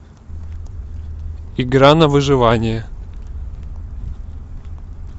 игра на выживание